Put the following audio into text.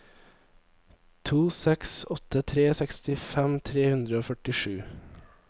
to seks åtte tre sekstifem tre hundre og førtisju